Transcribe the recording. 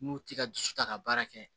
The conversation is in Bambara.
N'u tɛ ka dusu ta ka baara kɛ